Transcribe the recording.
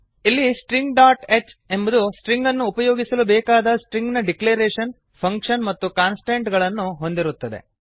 ಇಲ್ಲಿ string dot h stringಹ್ ಎಂಬುದು ಸ್ಟ್ರಿಂಗ್ ಅನ್ನು ಉಪಯೋಗಿಸಲು ಬೇಕಾದ ಸ್ಟ್ರಿಂಗ್ ನ ಡಿಕ್ಲರೇಶನ್ ಫಂಕ್ಷನ್ ಮತ್ತು ಕಾನ್ಸ್ಟಂಟ್ ಗಳನ್ನು ಹೊಂದಿರುತ್ತದೆ